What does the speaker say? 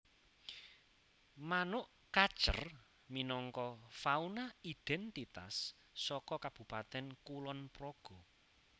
Manuk kacer minangka fauna idhèntitas saka Kabupatèn Kulonpraga